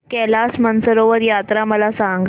कैलास मानसरोवर यात्रा मला सांग